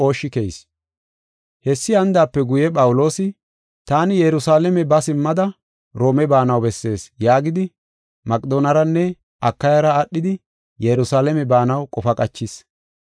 Hessi hanidaape guye Phawuloosi, “Taani Yerusalaame ba simmada Roome baanaw bessees” yaagidi Maqedooneranne Akayara aadhidi Yerusalaame baanaw qofa qachis.